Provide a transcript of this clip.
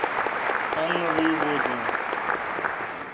анна воеводина